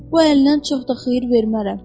Bu əlindən çox da xeyir vermərəm.